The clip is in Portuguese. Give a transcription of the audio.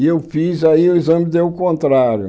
E eu fiz, aí o exame deu o contrário.